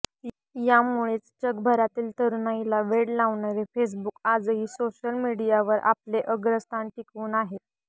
यामुळेच जगभरातील तरुणाईला वेड लावणारे फेसबुक आजही सोशल मीडियावरील आपले अग्रस्थान टिकवून आहे